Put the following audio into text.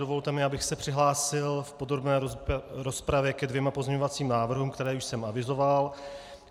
Dovolte mi, abych se přihlásil v podrobné rozpravě ke dvěma pozměňovacím návrhům, které jsem už avizoval.